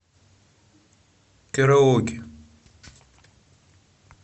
караоке